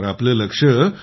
तर आपलं लक्ष्य